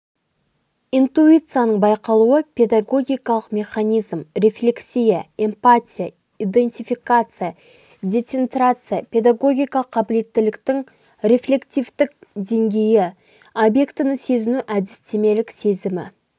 интуицияның байқалуы педагогикалық механизм рефлекция эмпатия идентификация децентрация педагогикалық қабілеттіліктің рефлективтік деңгейі обьектіні сезіну әдістемелік сезімі